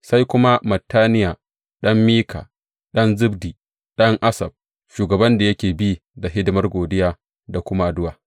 Sai kuma Mattaniya ɗan Mika, ɗan Zabdi, ɗan Asaf, shugaban da yake bi da hidimar godiya da kuma addu’a.